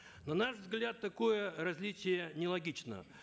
на наш взгляд такое различие нелогично